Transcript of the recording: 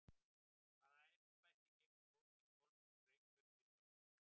Hvaða embætti gegnir Þórdís Kolbrún Reykfjörð Gylfadóttir?